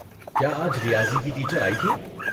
کیا آج ریاضی کی ٹیچر آئی تھیں؟